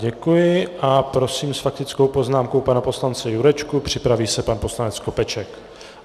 Děkuji a prosím s faktickou poznámkou pana poslance Jurečku, připraví se pan poslanec Skopeček.